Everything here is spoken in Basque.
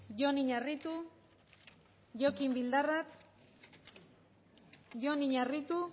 jon iñarritu jokin bildarratz jon iñarritu